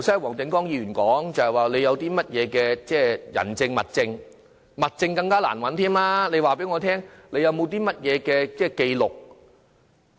黃定光議員剛才說，要有甚麼人證和物證，物證是更難找到的，難道不法分子會作紀錄嗎？